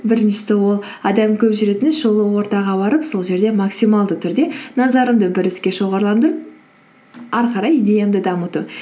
біріншісі ол адам көп жүретін шулы ортаға барып сол жерде максималды түрде назарымды бір іске шоғарландырып әрі қарай идеямды дамыту